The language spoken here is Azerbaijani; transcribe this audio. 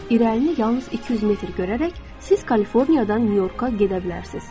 İrəlini yalnız 200 metr görərək siz Kaliforniyadan Nyu-Yorka gedə bilərsiniz.